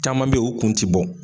Caman be ye u kun ti bɔ.